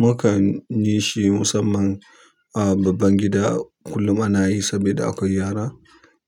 Mukan yi shi musamman a babban gida kullum ana yi saboda akwai yara.